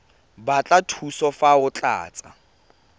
batla thuso fa o tlatsa